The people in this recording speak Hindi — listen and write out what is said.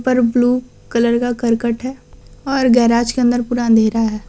और ब्लू कलर का करकट है और गैराज के अंदर पूरा अंधेरा है।